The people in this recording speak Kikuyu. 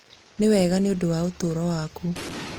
nĩwega nĩũndũ wa ũtaro waku